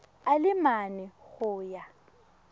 a le mane go ya